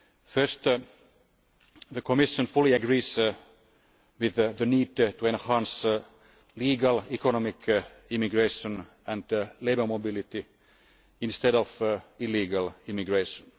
First, the Commission fully agrees with the need to enhance legal economic immigration and labour mobility instead of illegal immigration.